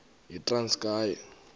yitranskayi